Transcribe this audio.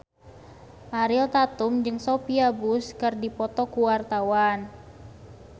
Ariel Tatum jeung Sophia Bush keur dipoto ku wartawan